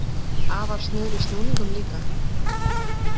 Afar snör í snúningum líka.